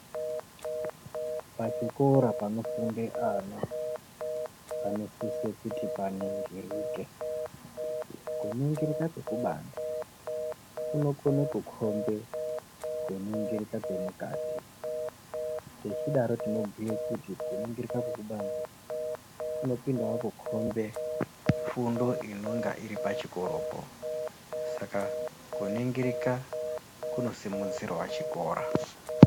Pachikora panofunda ana panosiswa kuti paningirike kuningirika kwekubanze kuno Kona kukhombe kuningirika kwemukati tichidaro tinobhuye kuti kuningirika kwekubanze kunopindawo kukhombe fundo inonga iripachikora ska kuningirika kunosimudzirawo chikora.